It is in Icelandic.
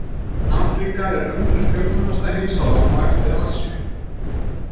Afríka er önnur fjölmennasta heimsálfan á eftir Asíu.